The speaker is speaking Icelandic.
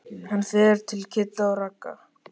Hann fer til Kidda og Ragga.